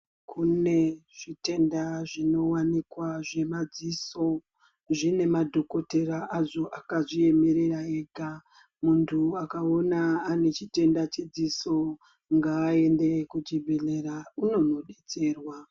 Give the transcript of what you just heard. Kune zvitenda zvinowanikwa zvemadziso. Zvine madhokotera azvo akazviemerera ega. Muntu akaona ane chitenda chedziso, ngaaende kuchibhedhlera unonodetserwa.